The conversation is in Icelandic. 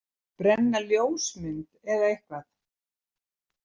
Brenna ljósmynd, eða eitthvað?